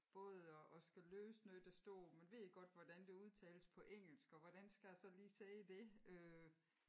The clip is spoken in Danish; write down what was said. Både at at skal læse noget der står man ved ikke godt hvordan det udtales på engelsk og hvordan skal a så lige sige det øh?